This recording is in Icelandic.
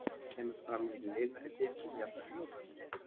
Kemur það fram í linari fitu, jafnvel fljótandi.